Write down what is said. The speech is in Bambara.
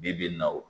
Bi bi in na o